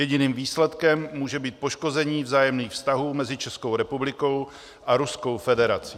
Jediným výsledkem může být poškození vzájemných vztahů mezi Českou republikou a Ruskou federací.